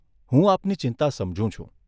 હું આપની ચિંતા સમજુ છું.